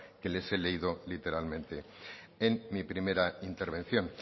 que les he leído literalmente en mi primera intervención